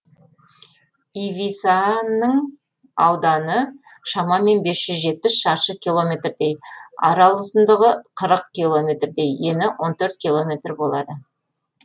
ивисаның ауданы шамамен бес жүз жетпіс шаршы километрдей арал ұзындығы қырық километрдей ені он төрт километр болады